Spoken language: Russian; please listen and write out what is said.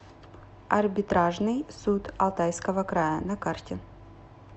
арбитражный суд алтайского края на карте